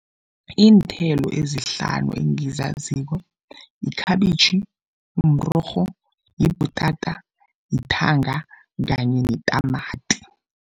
Iinthelo ezihlanu engizaziko yikhabitjhi, mrorho, yibhutata, yithanga kanye netamati.